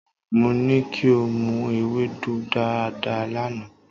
Mo ní kí o mu ewédú dáadáa lánàá.